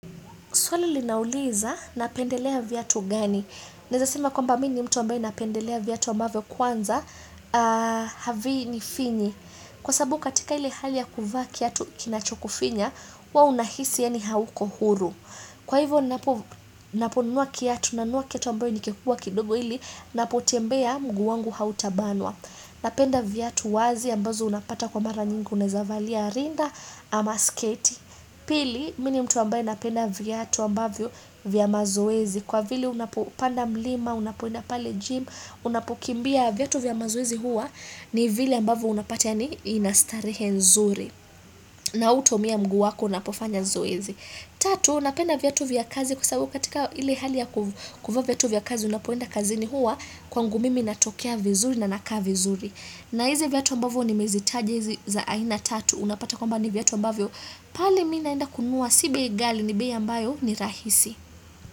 Swali linauliza napendelea viatu gani? Naweza sema kwamba mimi ni mtu ambaye napendelea viatu ambavyo kwanza, havinifinyi. Kwa sababu katika ile hali ya kuvaa kiatu kinachokufinya, huwa unahisi yani hauko huru. Kwa hivyo, ninapo nunuwa kiatu na nunuwa kiatu ambayo ni kikubwa kidogo ili, napo tembea mguu wangu hautabanwa. Napenda viatu wazi ambazo unapata kwa mara nyingi unaweza valia rinda ama sketi. Pili, mimi ni mtu ambaye napenda viatu ambavyo vya mazoezi Kwa vili unapopanda mlima, unapoenda pale gym, unapokimbia viatu vya mazoezi huwa ni vile ambavyo unapata yani ina starehe nzuri na hutoumia mguu wako unapofanya zoezi, tatu napenda viatu vya kazi kwa sababu katika ile hali ya kuvaa viatu vya kazi Unapoenda kazini huwa kwangu mimi natokea vizuri na nakaa vizuri na hizi viatu ambavyo nimezitaja za aina tatu unapata kwamba ni viatu ambavyo pale mimi naenda kununua si bei ngali ni bei ambayo ni rahisi.